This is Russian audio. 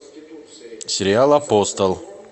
сериал апостол